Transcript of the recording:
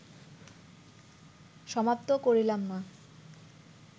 সমাপ্ত করিলাম না